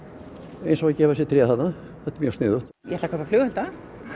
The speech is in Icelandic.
eins og að gefa þessi tré þarna það er mjög sniðugt ég ætla að kaupa flugelda